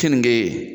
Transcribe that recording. Keninge